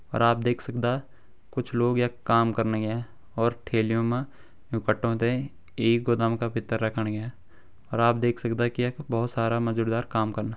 और आप देख सकदा कुछ लोग यख काम कण लग्यां और ठेलियों मा यू कट्टों ता ये गोदाम का भीतर रखण लग्यां और आप देख सकदा की यख बहोत सारा काम कना।